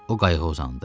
O qayıqa uzandı.